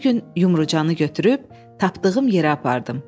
Bir gün Yumrucanı götürüb tapdığım yerə apardım.